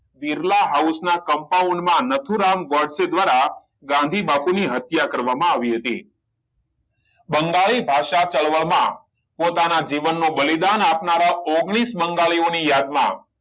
Birla house ના compound માં નાથુરામ ગોડસે દ્વારા ગાંધી બાપુ ની હત્યા કરવામાં આવી હતી બંગાળી ભાષા ચળવળ માં પોતાના જીવન નું બલિદાન આપનારા ઓગણીસ બંગાળીઓ ની યાદ માં